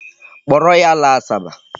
Kpọrọ ya laa Asaba.